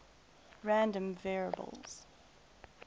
random variables